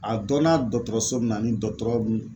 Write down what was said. A dɔnna dɔgɔtɔrɔso min na ni dɔgɔtɔrɔ mun